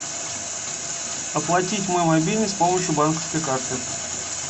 оплатить мой мобильный с помощью банковской карты